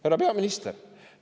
Härra peaminister!